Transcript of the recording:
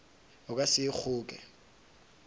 o ka se e kgoke